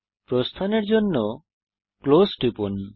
প্রস্থানের জন্য ক্লোজ টিপুন